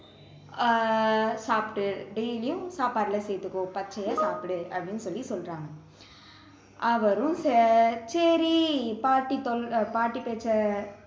ஆஹ் சாப்பிட்டு daily யும் சாப்பாடுல சேர்த்துக்கோ பச்சையா சாப்பிடு அப்படின்னு சொல்லி சொல்றாங்க அவரும் ச~ சரி பாட்டி சொல்~ பாட்டி பேச்சை